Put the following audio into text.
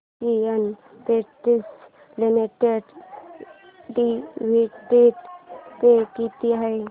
Asian Paints limited dividend pay किती आहे